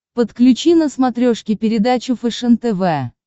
подключи на смотрешке передачу фэшен тв